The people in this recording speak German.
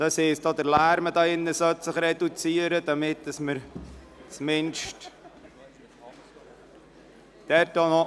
Das heisst, auch der Lärm hier im Saal sollte sich reduzieren, damit wir weiterfahren können.